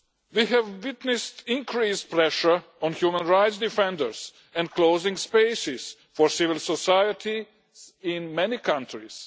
We have witnessed increased pressure on human rights defenders and closing spaces for civil society in many countries.